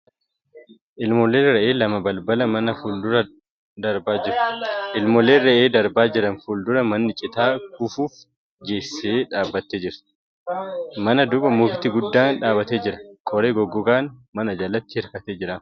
Ilmooleen re'ee lama balbala manaa fuuldura darbaa jiru. Ilmoolee re'ee darbaa jiran fuuldura manni citaa kufuuf geesse dhaabbattee jirti. Mana duuba mukti guddaan dhaabbatee jira. Qoree goggogaan mana jalatti hirkatee argama.